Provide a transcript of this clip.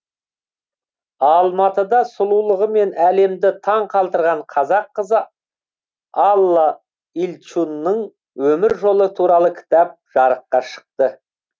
алматыда сұлулығымен әлемді таңқалдырған қазақ қызы алла ильчунның өмір жолы туралы кітап жарыққа шықты